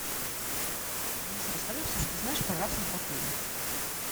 алиса расскажи все что знаешь про рафтинг в отеле